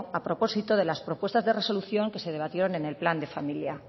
a propósito de las propuestas de resolución que se debatieron en el plan de familia